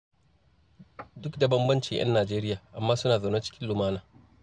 Duk da bambancin 'yan Nijeriya, amma suna zaune cikin lumana.